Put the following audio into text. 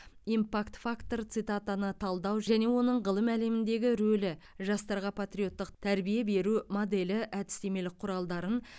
импакт фактор цитатаны талдау және оның ғылым әлеміндегі рөлі жастарға патриоттық тәрбие беру моделі әдістемелік құралдарын